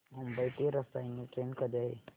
मुंबई ते रसायनी ट्रेन कधी आहे